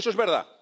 Eso es verdad.